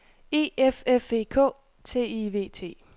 E F F E K T I V T